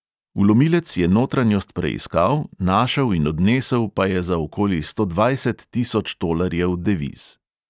Vlomilec je notranjost preiskal, našel in odnesel pa je za okoli sto dvajset tisoč tolarjev deviz.